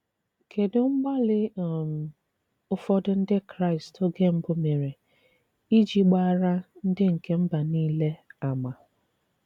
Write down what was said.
Kedụ mgbalị um ụfọdụ Ndị Kraịst oge mbụ mere iji gbaara ndị nke mba nile àmà?